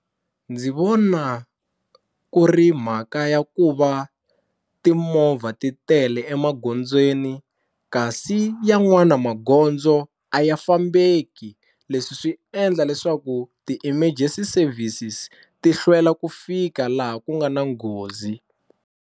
Ndzi vona ku ri mhaka ya ku va timovha ti tele emagondzweni kasi yan'wana magondzo a ya fambeki leswi swi endla leswaku ti-emergency services ti hlwela ku fika laha ku nga na nghozi.